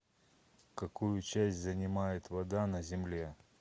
какую часть занимает вода на земле